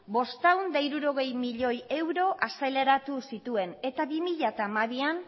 bostehun eta hirurogei milioi euro azaleratu zituen eta bi mila hamabian